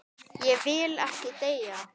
Ég vil ekki deyja.